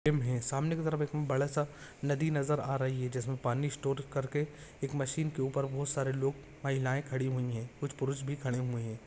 सामने की तरफ एक बडासा नदी नजर आ रही है जिसमे पाणी स्टोर करके एक मशीन के ऊपर बहुत सारे लोग महिलाए खड़ी हुई है कुछ पुरुष भी खड़े हुए है।